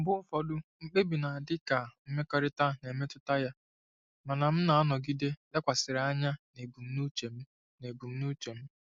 Mgbe ụfọdụ, mkpebi na-adị ka mmekọrịta na-emetụta ya, mana m na-anọgide lekwasịrị anya na ebumnuche m. na ebumnuche m.